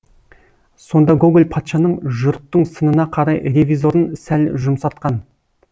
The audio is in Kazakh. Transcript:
сонда гоголь патшаның жұрттың сынына қарай ревизорын сәл жұмсартқан